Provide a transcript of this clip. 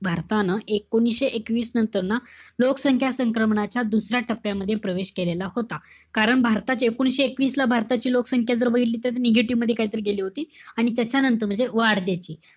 भारतानं एकोणविशे एकवीस नंतर ना, लोकसंख्या संक्रमणाच्या दुसऱ्या टप्प्यामध्ये प्रवेश केलेला होता. कारण भारतात एकोणीशे एकवीसला भारताची लोकसंख्या जर बघितली तर, negative मध्ये काहीतरी गेली होती. आणि त्याच्यानंतर म्हणजे वाढ त्याची,